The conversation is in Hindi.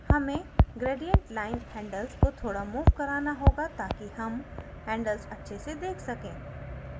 हमें gradient line handles को थोड़ा सा move कराना होगा ताकि हम handles अच्छे से देख सकें